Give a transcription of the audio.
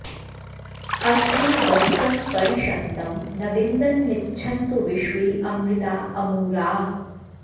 अस्मे वत्सं परि षन्तं न विन्दन्निच्छन्तो विश्वे अमृता अमूराः